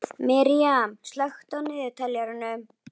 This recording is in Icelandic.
Miriam, slökktu á niðurteljaranum.